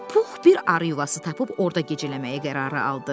Pux bir arı yuvası tapıb orda gecələməyə qərar aldı.